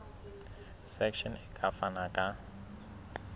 section e ka fana ka